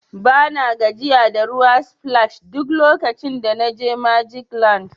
Bana gajiya da water splash duk lokacin da na je magic land.